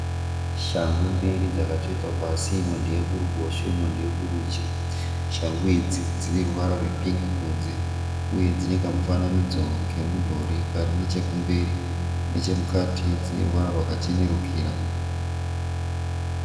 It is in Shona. Shangu mbiri dzakatsvetwa pasi. Imwe ndeye kuruboshwe imwe ndeye kurudyi. Shangu idzi dzine ruvara rwepingi kunze uye dzine kamufananidzo kemudhori kari nechekumberi. Nechemukati dzine ruvara rwakachenerukira.